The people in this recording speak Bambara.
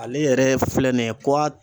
Ale yɛrɛ filɛ nin ye